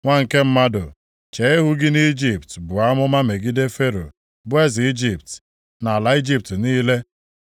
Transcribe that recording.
“Nwa nke mmadụ, chee ihu gị nʼIjipt buo amụma megide Fero bụ eze Ijipt, na ala Ijipt niile.